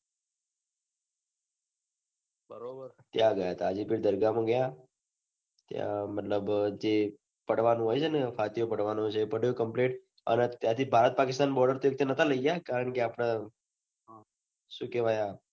ત્યાં ગયા હતા હાજીકી દરગાહ મા ગયા ત્યાં મતલબ અ જે પડવાનું હોય છે ને એ બધુ complete અને ત્યાંથી ભારત પાકિસ્તાન border તો નાતા લઇ ગયા કારણ કે આપને સુ કહવાય આ